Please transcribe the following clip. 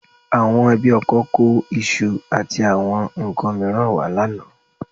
Àwọn ẹbí ọkọ kó iṣu àti àwọn nǹkan mìíràn wá lánàá